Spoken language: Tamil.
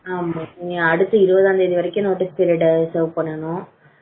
அடுத்து இருபதாம் தேதி வரைக்கும் notice period வேலை பண்ணனும்.